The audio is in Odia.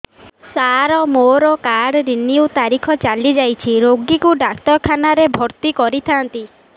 ସାର ମୋର କାର୍ଡ ରିନିଉ ତାରିଖ ଚାଲି ଯାଇଛି ରୋଗୀକୁ ଡାକ୍ତରଖାନା ରେ ଭର୍ତି କରିଥାନ୍ତି